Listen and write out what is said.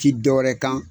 Ti dɔwɛrɛ kan